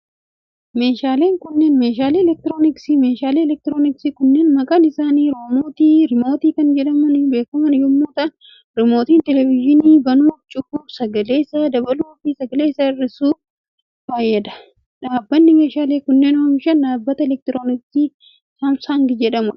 Meeshaaleen kunneen, meeshaalee elektirooniksiiti. Meeshaaleen elektirooniksii kunneen maqaan isaanii riimootii kan jedhamuun beekaman yoo ta'u, rimootiin televizyinii banuuf, cufuuf, sagalee isaa dabaluuf, sagalee isaa hirrisuuf faa fayyada. Dhaabbanni meeshaalee kanneen oomishe dhaabbata elektirooniksii Saamsang jedhamuu dha.